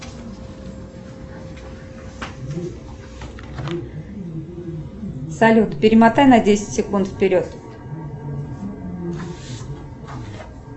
салют перемотай на десять секунд вперед